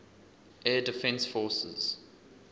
air defense forces